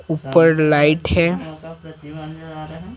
ऊपर लाइट है।